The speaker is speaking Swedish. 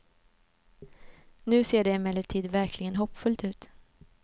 Nu ser det emellertid verkligen hoppfullt ut.